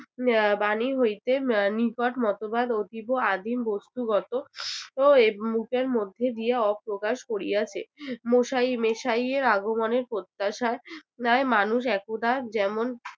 এর বাণী হইতে নিকট মতবাদ অতীব আদিম বস্তুগত এর মধ্যে দিয়া অপ্রকাশ করিয়াছে মশাই~ মেশাইয়ের আগমনের প্রত্যাশার ন্যায় মানুষ একদা যেমন